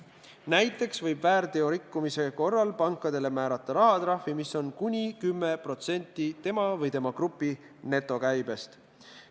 Näiteks võib väärteorikkumise korral pangale määrata rahvatrahvi, mis on kuni 10% tema või tema grupi netokäibest.